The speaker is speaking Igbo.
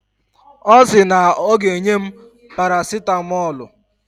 Ọ sị na o ga-enye m parasitamọlụ.